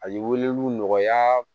A ye weleli nɔgɔya